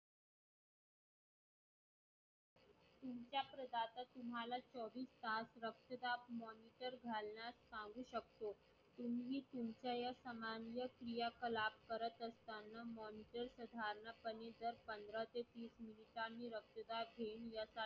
मला चोवीस तास रक्तदाब तुम्ही सांगू साखतो तुम्ही तुमच्या या समान क्रियाकलाप म्हणजे पंधरा ते वीस वर्षांनी